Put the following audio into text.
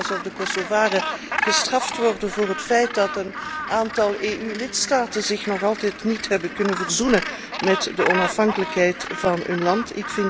het lijkt wel alsof de Kosovaren gestraft worden voor het feit dat een aantal EU lidstaten zich nog altijd niet heeft kunnen verzoenen met de onafhankelijkheid van hun land.